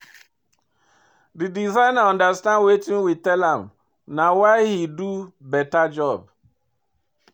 The designer understand wetin we tell am na why he do beta job